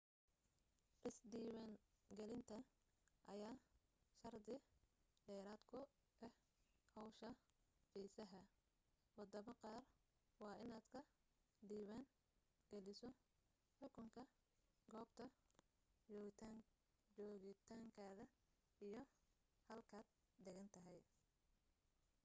is diiwan gelinta ayaa shardi dheeraad ku ah hawsha fiisaha wadamo qaar waa inaad ka diiwaan geliso xukunka goobta joogitaankaada iyo halkaad degantahay